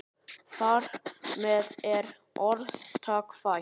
Þar með er orðtak fætt.